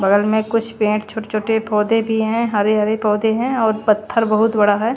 बगल में कुछ पेड़ छोटे छोटे पौधे भी हैं हरे हरे पौधे हैं और पत्थर बहुत बड़ा है।